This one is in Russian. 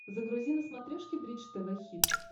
загрузи на смотрешке бридж тв хитс